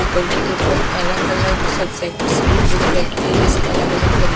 ऊपर की तरफ अलग अलग सब्जेक्ट्स की बुक रखी है जैसे अलग अलग तरी--